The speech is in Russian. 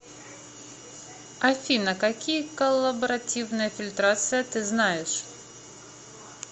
афина какие коллаборативная фильтрация ты знаешь